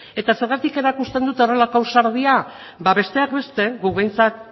eta zergatik erakusten dute horrelako ausardia ba besteak beste guk behintzat